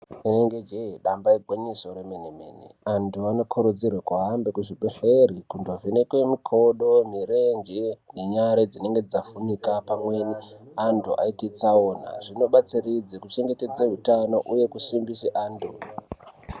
Inenge jee damba igwinyiso remene mene, antu anokurudzirwe kuhambe kuzvibhedhlere kundovhenekwe mikodo, mirenje nenyare dzinenga dzavhunika pamwe antu aite tsaona. Zvinobatsiridza kuchengetedze utano uye kusimbise antu.